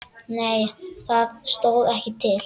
Nei það stóð ekki til.